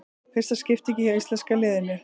Fyrsta skiptingin hjá íslenska liðinu